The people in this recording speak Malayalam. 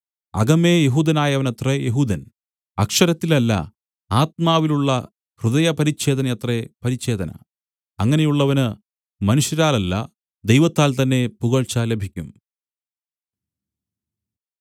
അകമേ യെഹൂദനായവനത്രേ യെഹൂദൻ അക്ഷരത്തിലല്ല ആത്മാവിലുള്ള ഹൃദയപരിച്ഛേദനയത്രേ പരിച്ഛേദന അങ്ങനെയുള്ളവന് മനുഷ്യരാലല്ല ദൈവത്താൽ തന്നേ പുകഴ്ച ലഭിക്കും